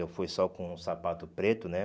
Eu fui só com sapato preto, né?